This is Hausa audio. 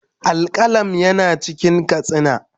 Al-qalam yana cikin katsina